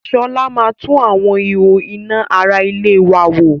Sọlá máa tún àwọn ihò iná ara ilé wa wò